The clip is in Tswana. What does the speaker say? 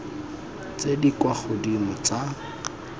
tse di kwa godimo tsa